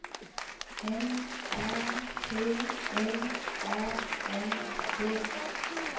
N A T L A N D